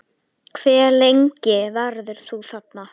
Hve lengi verður þú þarna?